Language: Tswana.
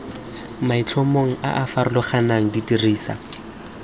maitlhomong a a farologaneng dirisa